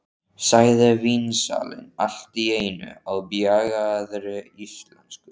sagði vínsalinn allt í einu á bjagaðri íslensku.